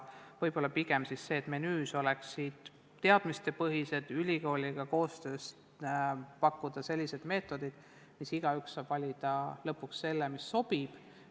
Vaja on teadmistepõhises koostöös ülikooliga pakkuda erinevaid meetodid, siis saab igaüks valida lõpuks selle, mis sobib.